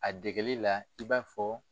A dɛgɛli la i b'a fɔ